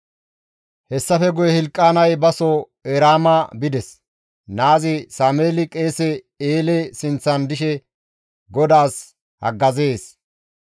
Hessafe guye Hilqaanay baso Eraama bides. Naazi Sameeli qeese Eele sinththan dishe GODAAS haggazees.